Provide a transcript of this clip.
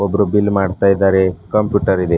Group bill ಮಾಡ್ತಾ ಇದ್ದಾರೆ computer ಇದೆ.